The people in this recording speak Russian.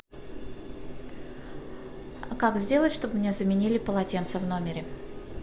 как сделать чтобы мне заменили полотенца в номере